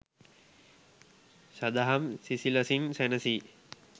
සදහම් සිසිලසින් සැනසී